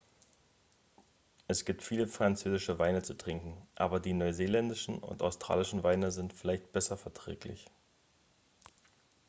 es gibt viele französische weine zu trinken aber die neuseeländischen und australischen weine sind vielleicht besser verträglich